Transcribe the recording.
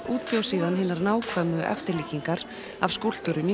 útbjó síðan hinar nákvæmu eftirlíkingar af skúlptúrum í